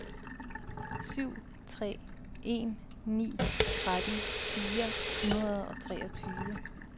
syv tre en ni tretten fire hundrede og treogtyve